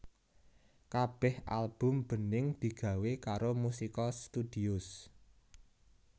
Kabéh album Bening digawé karo Musica Studios